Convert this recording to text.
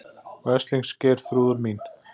Veslings Geirþrúður mín.